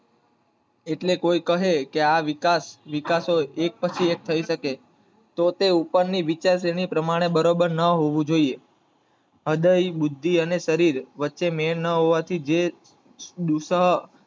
એટલે કોઈ કહે કે આ વિકાસ, વિકાસ એક પછી એક હોય તો તે ઉપરની વિચારસરણી પ્રમાણે એકસરખું ના હોવું જોઈએ અદયી બુદ્ધિ અને શરીર વચ્ચે જે ન હોવાથી દુઃસાહ